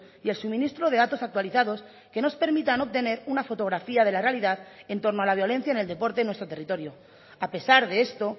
y el suministro de datos actualizados que nos permitan obtener una fotografía de la realidad en torno a la violencia en el deporte en nuestro territorio a pesar de esto